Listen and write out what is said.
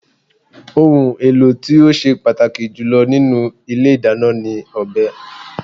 Ohùn èlò tí o sé pàtàkì jùlọ nínú Ilé ìdáná ni ọ̀bẹ